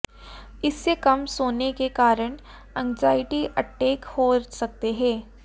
इससे कम सोने के कारण एंग्ज़ायटी अटैक हो सकते हैं